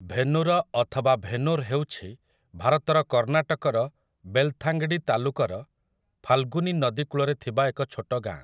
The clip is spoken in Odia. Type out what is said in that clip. ଭେନୁର ଅଥବା ଭେନୂର ହେଉଛି ଭାରତର କର୍ଣ୍ଣାଟକର ବେଲଥାଙ୍ଗାଡ଼ି ତାଲୁକର ଫାଲ୍‌ଗୁନି ନଦୀ କୂଳରେ ଥିବା ଏକ ଛୋଟ ଗାଁ ।